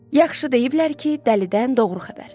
Yaxşı deyiblər ki, dəlidən doğru xəbər.